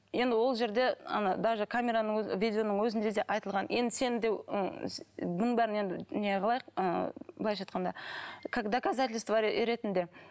енді ол жерде ана даже камераның өзі видеоның өзінде де айтылған енді сен де бұның бәрін енді не қылайық ы былайша айтқанда как доказательство ретінде